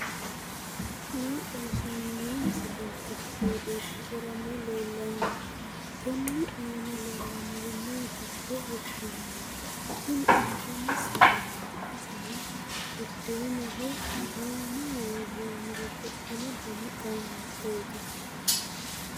maa xawissanno misileeti? qooxeessisera may leellanno? tenne aana leellannori maati yitine heddinanni? tini intanni sagaleeti, isino buddeenaho aanaho worroonniri babbaxxino dani qaamattooti.